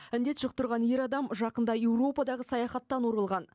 індет жұқтырған ер адам жақында еуропадағы саяхаттан оралған